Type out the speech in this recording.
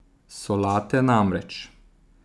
Solate namreč!